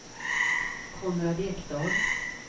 Konrad Ekdahl